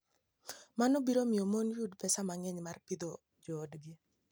Mano biro miyo mon oyud pesa mang'eny mar pidho joodgi.